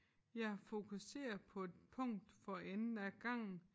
Jeg er fokuseret på et punkt for enden af gangen